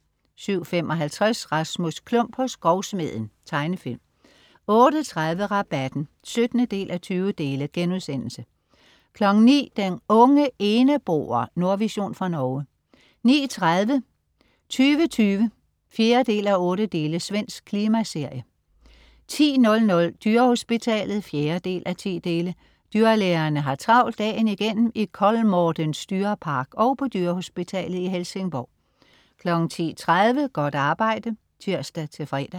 07.55 Rasmus Klump, hos grovsmeden. Tegnefilm 08.30 Rabatten 17:20* 09.00 Den unge eneboer. Nordvision fra Norge 09.30 2020 4:8. Svensk klimaserie 10.00 Dyrehospitalet 4:10. Dyrlægerne har travlt dagen igennem i Kolmårdens dyrepark og på dyrehospitalet i Helsingborg 10.30 Godt arbejde (tirs-fre)